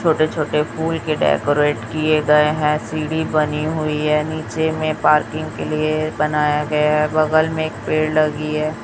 छोटे छोटे फूल के डेकोरेट किये गए हैं सीढ़ी बनी हुई है नीचे में पार्किंग के लिए बनाया गया है बगल में एक पेड़ लगी है।